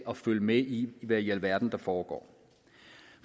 at følge med i hvad i alverden der foregår